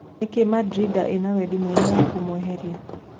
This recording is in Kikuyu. Nĩkĩĩ Rĩ Mandrinda ĩna wendi mũnene wa kũmweheria ?